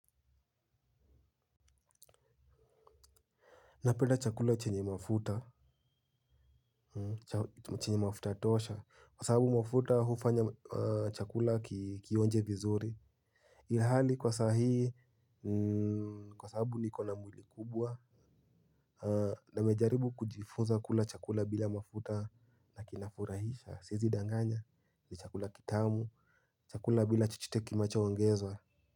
Napenda chakula chenye mafuta chenye tosha kwa sahabu mafuta hufanya chakula kionje vizuri. Ihali kwa sahii, kwa sahabu nikona mwili kubwa. Nimejaribu kujifunza kula chakula bila mafuta na kinafurahisha siezi danganya ni chakula kitamu chakula bila chochote kinacho ongezwa.